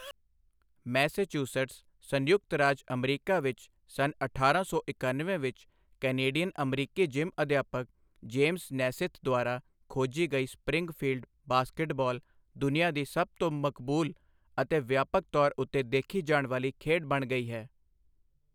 Massachusetts, ਸੰਯੁਕਤ ਰਾਜ ਅਮਰੀਕਾ ਵਿੱਚ ਸੰਨ ਅਠਾਰਾਂ ਸੌ ਇਕਣਵੇਂ ਵਿੱਚ ਕੈਨੇਡੀਅਨ ਅਮਰੀਕੀ ਜਿਮ ਅਧਿਆਪਕ ਜੇਮਜ਼ ਨੈਸਿਥ ਦੁਆਰਾ ਖੋਜੀ ਗਈ ਸਪਰਿੰਗਫੀਲਡ, ਬਾਸਕਟਬਾਲ ਦੁਨੀਆ ਦੀ ਸਭ ਤੋਂ ਮਕਬੂਲ ਅਤੇ ਵਿਆਪਕ ਤੌਰ ਉੱਤੇ ਦੇਖੀ ਜਾਣ ਵਾਲੀ ਖੇਡ ਬਣ ਗਈ ਹੈ।